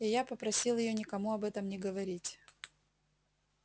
и я попросил её никому об этом не говорить